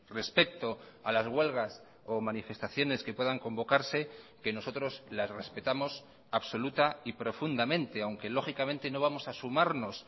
respecto a las huelgas o manifestaciones que puedan convocarse que nosotros las respetamos absoluta y profundamente aunque lógicamente no vamos a sumarnos